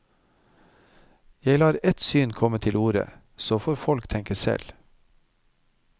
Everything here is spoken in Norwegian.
Jeg lar et syn komme til orde, så får folk tenke selv.